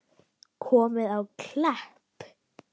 Komið á Klepp?